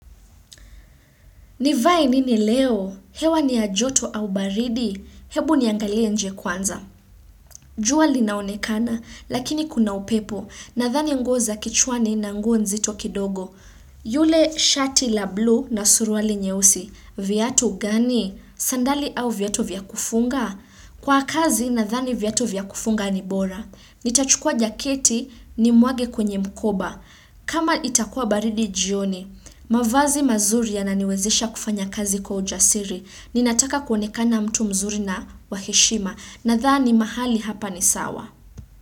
Nivae nini leo? Hewa ni ya joto au baridi? Hebu niangalie nje kwanza. Jua linaonekana, lakini kuna upepo. Nadhani nguo za kichwani na nguo nzito kidogo. Yule shati la blue na suruali nyeusi. Viatu gani? Sandali au viatu vya kufunga? Kwa kazi nadhani viatu vya kufunga ni bora. Nitachukua jaketi nimwage kwenye mkoba. Kama itakua baridi jioni, mavazi mazuri yananiwezesha kufanya kazi kwa ujasiri. Ninataka kuonekana mtu mzuri na wa heshima. Nadhani mahali hapa ni sawa.